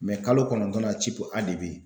kalo kɔnɔntɔnnan A de be ye.